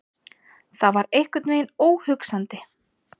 Það var einhvern veginn óhugsandi.